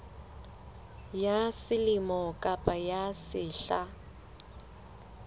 ya selemo kapa ya sehla